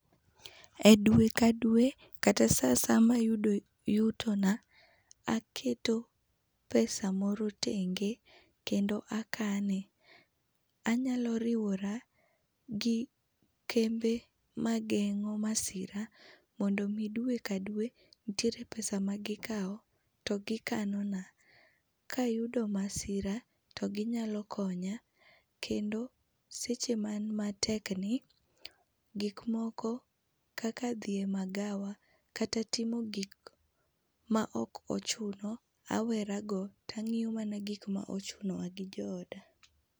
E dwe ka dwe kata sa asaya ma ayudo yuto na aketo pesa moro tenge kendo akane. Anyalo riwora gi kembe ma geng'o masira mondo mi dwe ka dwe nitiere pesa ma gi kao to gikano na ka ayudo masira to gi nyalo konya ,kendo seche ma an matek ni, gik moko kaka dhi e magawa kata timo gik ma ok ochuno awera go to ang'iyo mana gik ma ochunowa gi jo oda.